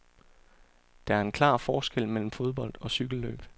Der er en klar forskel mellem fodbold og cykelløb.